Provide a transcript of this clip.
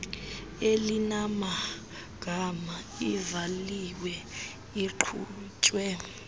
elinamagama ivaliwe iqhutywe